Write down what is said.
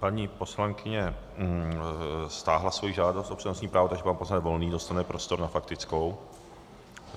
Paní poslankyně stáhla svoji žádost o přednostní právo, takže pan poslanec Volný dostane prostor na faktickou.